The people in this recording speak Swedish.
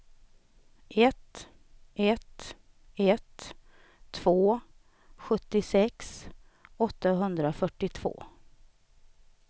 ett ett ett två sjuttiosex åttahundrafyrtiotvå